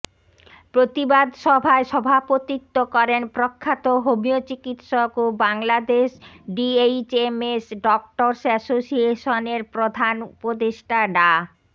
প্রতিবাদ সভায় সভাপতিত্ব করেন প্রখ্যাত হোমিও চিকিৎসক ও বাংলাদেশ ডিএইচএমএস ডক্টর্স অ্যাসোসিয়েশনের প্রধান উপদেষ্টা ডা